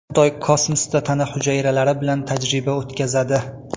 Xitoy kosmosda tana hujayralari bilan tajriba o‘tkazadi.